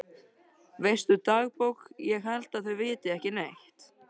Veistu dagbók ég held að þau viti ekki neitt.